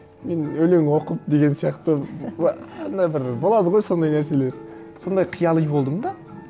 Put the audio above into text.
мен өлең оқып деген сияқты андай бір болады ғой сондай нәрселер сондай қияли болдым да